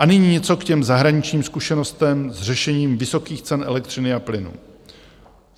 A nyní něco k těm zahraničním zkušenostem s řešením vysokých cen elektřiny a plynu.